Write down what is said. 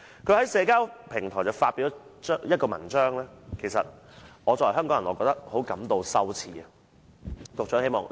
他在社交平台發表了一篇文章，令到作為香港人的我也感到十分羞耻。